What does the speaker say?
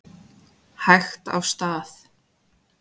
Hægt af stað